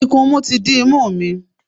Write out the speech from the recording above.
Ikunmu ti dí imú mi.